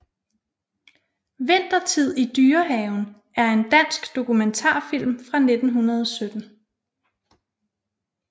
Vintertid i Dyrehaven er en dansk dokumentarfilm fra 1917